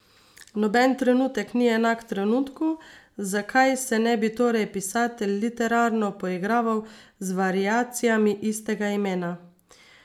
Noben trenutek ni enak trenutku, zakaj se ne bi torej pisatelj literarno poigraval z variacijami istega imena.